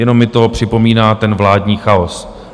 Jenom mi to připomíná ten vládní chaos.